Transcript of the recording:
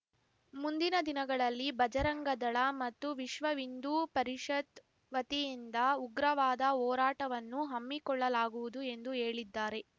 ಮುಂದಿನ ದಿನಗಳಲ್ಲಿ ಬಜರಂಗದಳ ಮತ್ತು ವಿಶ್ವ ಹಿಂದೂ ಪರಿಷತ್‌ ವತಿಯಿಂದ ಉಗ್ರವಾದ ಹೋರಾಟವನ್ನು ಹಮ್ಮಿಕೊಳ್ಳಲಾಗುವುದು ಎಂದು ಹೇಳಿದ್ದಾರೆ